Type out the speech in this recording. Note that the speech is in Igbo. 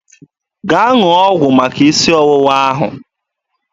Gaa ṅụọ ọgwụ maka isi ọwụwa ahụ!